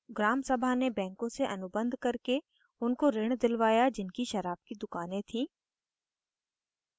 gram sabha ने banks से अनुबंध करके उनको ऋण दिलवाया जिनकी शराब की दुकानें थीं